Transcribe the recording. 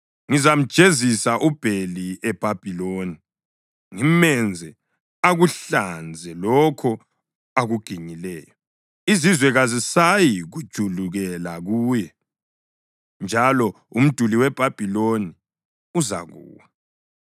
Ngizamjezisa uBheli eBhabhiloni ngimenze akuhlanze lokho akuginyileyo. Izizwe kazisayikujulukela kuye. Njalo umduli weBhabhiloni uzakuwa.